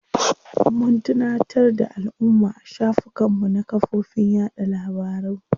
Mun tunatar da alumma a shafukan mu na kafofin yaɗa labaru.